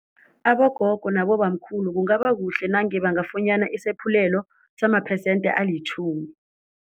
Abogogo nabobamkhulu kungaba kuhle nange bangafunyana isaphulelo samaphesente alitjhumi.